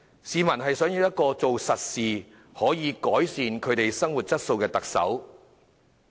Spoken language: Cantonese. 市民想要一個做實事、可改善他們生活質素的特首。